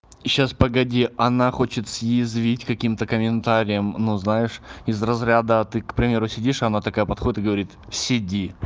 и сейчас погоди она хочет съязвить каким-то комментарием но знаешь из разряда а ты к примеру сидишь она такая подходит и говорит сиди